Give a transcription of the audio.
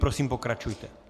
Prosím, pokračujte.